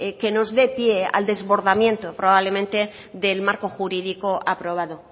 que nos dé pie al desbordamiento probablemente del marco jurídico aprobado